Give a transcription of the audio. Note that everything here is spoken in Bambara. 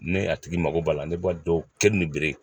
Ne a tigi mago b'a la ne b'a dɔn kɛ ni bere